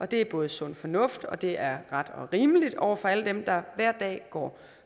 det er både sund fornuft og det er ret og rimeligt over for alle dem der hver dag går